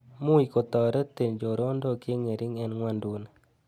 Much ko toretin chorondok cheng'ering' eng ng'wonduni.